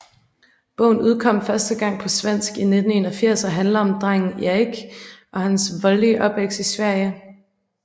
Bogen udkom første gang på svensk i 1981 og handler om drengen Erik og hans voldelige opvækst i Sverige